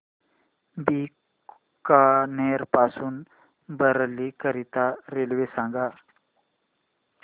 बीकानेर पासून बरेली करीता रेल्वे सांगा